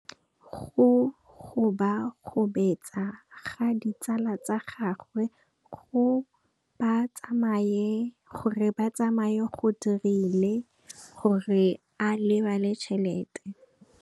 Go gobagobetsa ga ditsala tsa gagwe, gore ba tsamaye go dirile gore a lebale tšhelete.